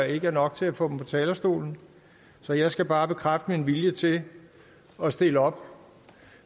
ikke er nok til at få talerstolen så jeg skal bare bekræfte min vilje til at stille op